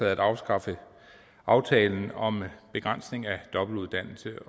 at afskaffe aftalen om begrænsning af dobbeltuddannelse